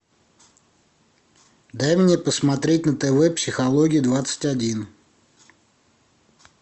дай мне посмотреть на тв психология двадцать один